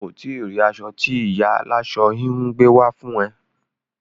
O ti rí aṣọ tí ìyá aláṣọ-híhun gbé wá fún ẹ.